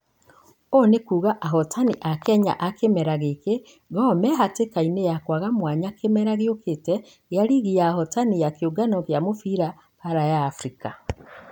Ũũ nĩkuga ahotani a kenya a kĩmera gĩki gor mĩhatĩkainĩ ya kũaga mwanya kĩmera gĩũkĩte gĩa rigi ya ahotani ya kĩũngano gĩa mũbira baara ya africa.